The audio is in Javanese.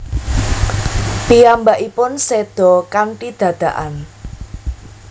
Piyambakipun séda kanthi dadakan